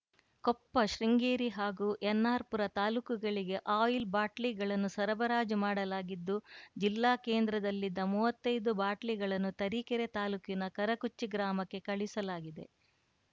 ಕೊಪ್ಪ ಶೃಂಗೇರಿ ಹಾಗೂ ಎನ್‌ಆರ್‌ ಪುರ ತಾಲೂಕುಗಳಿಗೆ ಆಯಿಲ್‌ ಬಾಟ್ಲಿಗಳನ್ನು ಸರಬರಾಜು ಮಾಡಲಾಗಿದ್ದು ಜಿಲ್ಲಾ ಕೇಂದ್ರದಲ್ಲಿದ್ದ ಮುವತ್ತೈದು ಬಾಟ್ಲಿಗಳನ್ನು ತರೀಕೆರೆ ತಾಲೂಕಿನ ಕರಕುಚ್ಚಿ ಗ್ರಾಮಕ್ಕೆ ಕಳುಹಿಸಲಾಗಿದೆ